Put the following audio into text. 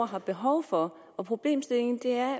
har behov for og problemstillingen er